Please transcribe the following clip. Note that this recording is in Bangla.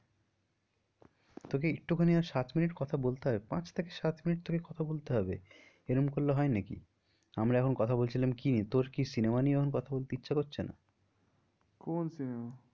তোকে একটুখানি আর সাত minute কথা বলতে হবে পাঁচ থেকে সাত minute তোকে কথা বলতে হবে এরম করলে হয় নাকি? আমরা এখন কথা বলছিলাম কি নিয়ে? তোর কি cinema নিয়ে এখন কথা বলতে ইচ্ছা করছে না? কোন cinema